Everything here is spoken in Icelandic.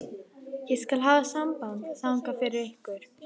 Ég skal hafa samband þangað fyrir ykkur.